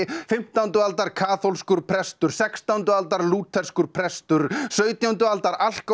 fimmtán aldar kaþólskur prestur sextándu aldar lútherskur prestur sautjándu aldar